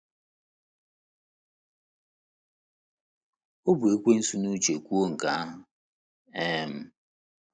O bu Ekwensu n’uche kwuo nke ahụ. um